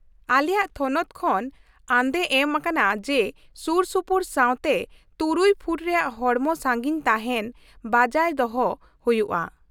ᱟᱞᱮᱭᱟᱜ ᱛᱷᱚᱱᱚᱛ ᱠᱷᱚᱱ ᱟᱸᱫᱮ ᱮᱢ ᱟᱠᱟᱱᱟ ᱡᱮ ᱥᱩᱨᱥᱩᱯᱩᱨ ᱥᱟᱶᱛᱮ ᱖ ᱯᱷᱩᱴ ᱨᱮᱭᱟᱜ ᱦᱚᱲᱢᱚ ᱥᱟᱹᱜᱤᱧ ᱛᱟᱦᱮᱱ ᱵᱟᱹᱡᱟᱹᱭ ᱫᱚᱦᱚᱭ ᱦᱩᱭᱩᱜᱼᱟ ᱾